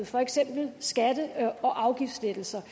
for eksempel skatte og afgiftslettelser